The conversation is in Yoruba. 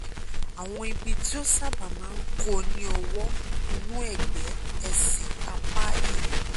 àwọn ibi tí ó sábà máa ń kó ni ọwọ́ inú (ẹ̀gbẹ́) ẹsẹ̀ apá ìwọ̀